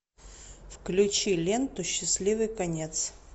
включи ленту счастливый конец